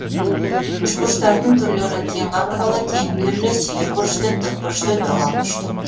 үшбұрыштардың түрлері тең қабырғалы теңбүйірлі сүйірбұрышты тік бұрышты доғал бұрышты